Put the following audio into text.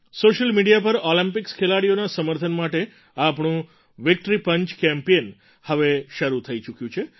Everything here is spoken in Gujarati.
સૉશિયલ મિડિયા પર ઑલિમ્પિક્સ ખેલાડીઓના સમર્થન માટે આપણું વિક્ટરી પંચ કેમ્પેઇન હવે શરૂ થઈ ચૂક્યું છે